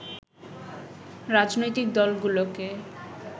রাজনৈতিক দলগুলোকে